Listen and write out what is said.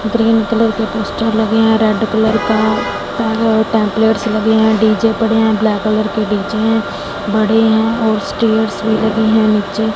Green colour के poster लगे हैं रेड कलर का टे टेम्पलेट्स लगे हैं डी_जे पड़े है ब्लैक के डी_जे हैं बड़े हैं और स्टेयर्स भी लगे है नीचे।